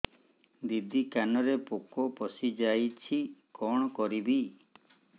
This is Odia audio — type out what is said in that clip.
ଦିଦି କାନରେ ପୋକ ପଶିଯାଇଛି କଣ କରିଵି